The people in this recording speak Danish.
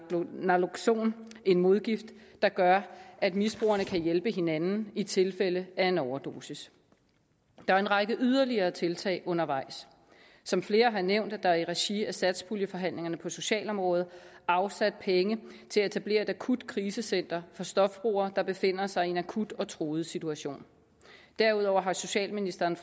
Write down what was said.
naloxon en modgift der gør at misbrugerne kan hjælpe hinanden i tilfælde af en overdosis der er en række yderligere tiltag undervejs som flere har nævnt er der i regi af satspuljeforhandlingerne på socialområdet afsat penge til at etablere et akutkrisecenter for stofbrugere der befinder sig i en akut og truet situation derudover har socialministeren